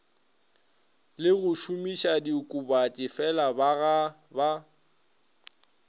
le go šomišadiokobatši felabaga ba